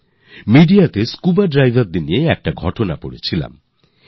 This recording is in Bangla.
এখন দেখুন না মেডিয়া তে স্কুবা ড্রাইভার্স দের একটি স্টোরি পড়ছিলাম